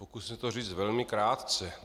Pokusím se to říct velmi krátce.